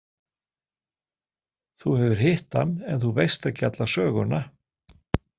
Þú hefur hitt hann en þú veist ekki alla söguna.